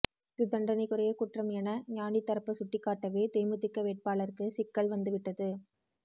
இது தண்டனைக்குரிய குற்றம் என ஞாநி தரப்பு சுட்டிக்காட்டவே தேமுதிக வேட்பாளருக்கு சிக்கல் வந்துவிட்டது